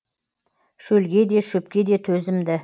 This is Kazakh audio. шөлге де шөпке де төзімді